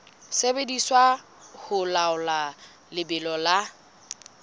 sebediswa ho laola lebelo la